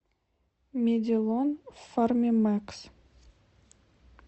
медилон фармимэкс